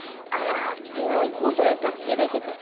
আর আজকে ওই একটা কে দেখেছে